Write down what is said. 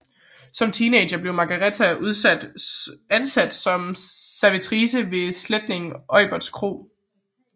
Som teenager blev Margareta ansat som servitrice ved slægtning Auberts kro